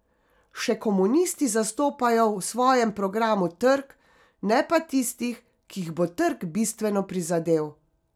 Še komunisti zastopajo v svojem programu trg, ne pa tistih, ki jih bo trg bistveno prizadel.